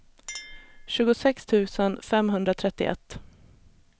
tjugosex tusen femhundratrettioett